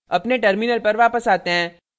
अपने terminal पर वापस आते हैं